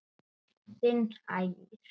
Þinn Ægir.